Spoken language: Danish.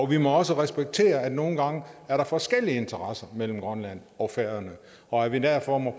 vi må også respektere at der nogle gange er forskellige interesser mellem grønland og færøerne og at vi derfor må